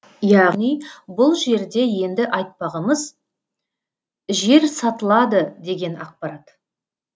яғни бұл жерде енді айтпағымыз жер сатылады деген ақпарат